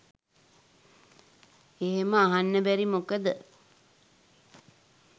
එහෙම අහන්න බැරි මොකද